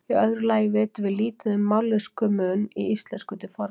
Í öðru lagi vitum við lítið um mállýskumun í íslensku til forna.